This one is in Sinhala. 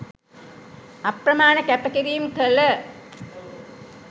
අප්‍රමාණ කැප කිරීම් කළ